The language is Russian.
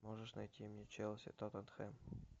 можешь найти мне челси тоттенхэм